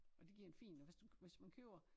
Og det giver en fin hvis du hvis man køber